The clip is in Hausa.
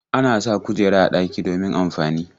Ana sa kujera a ɗaki domin amfani.